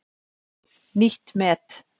Nýtt met